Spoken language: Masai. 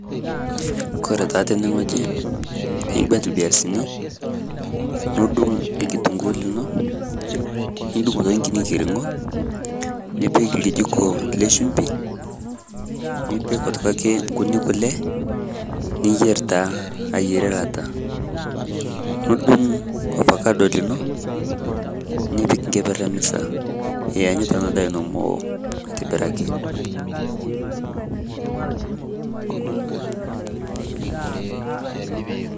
Kore taa tene ng'oji iigueet mbiasin, niduung' ilkitunguu linoo, niduung' nkinyii ng'iring'o , nipiik lkijikoo le shumbii, nipiik otoki ake nkutii kulee, niyeer taa aiyeere laata. Nuduung' ofakado linoo nipiik nkepeer e misaa iyanyita ena ndaa eno meoo aitibiraki.